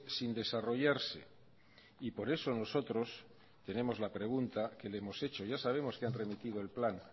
sin desarrollarse y por eso nosotros tenemos la pregunta que le hemos hecho ya sabemos que han remitido el plan